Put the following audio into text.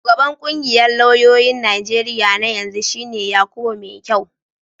Shugaban ƙungiyar lauyoyin Najeriya na yanzu shi ne Yakubu Maikyau.